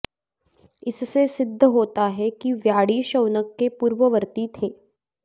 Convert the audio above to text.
इससे सिद्ध होता है कि व्याडि शौनक के पूर्ववर्ती थे